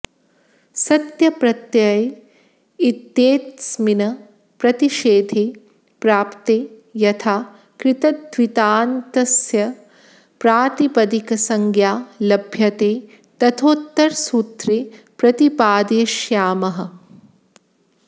सत्यप्रत्यय इत्येतस्मिन् प्रतिषेधे प्राप्ते यथा कृत्तद्धितान्तस्य प्रातिपदिकसंज्ञा लभ्यते तथोत्तरसूत्रे प्रतिपादयिष्यामः